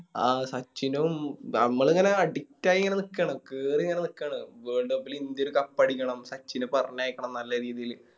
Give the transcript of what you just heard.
ആ സച്ചിനും ഞമ്മളിങ്ങനെ Addict ആയി ഇങ്ങനെ നിക്കാണ് കേറിങ്ങനെ നിക്കാണ് Worldcup ല് ഇന്ത്യ ഒര് Cup അടിക്കണം സച്ചിനെ പറഞ്ഞയക്കണം നല്ല രീതില്